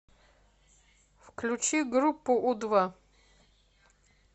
включи группу у два